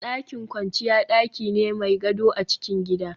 Dakin kwanciya daki ne mai gado a cikin gida